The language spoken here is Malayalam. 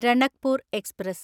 രണക്പൂർ എക്സ്പ്രസ്